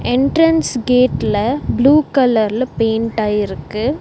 Entrance கேட்ல blue கலர்ல பெயிண்ட்டாயிருக்கு .